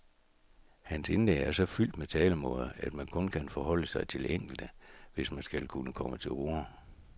Hans indlæg er så fyldt med talemåder, at man kun kan forholde sig til enkelte, hvis man skal kunne komme til orde.